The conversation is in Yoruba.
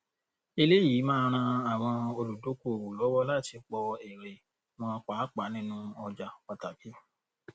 eléyìí máa ran àwọn olùdókòwò lọwọ láti pọ èrè wọn pàápàá nínú ọjà pàtàkì